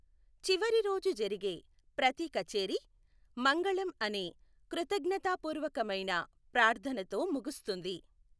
చివరి రోజు జరిగే ప్రతి కచేరీ, మంగళం అనే కృతజ్ఞతాపూర్వకమైన ప్రార్థనతో ముగుస్తుంది.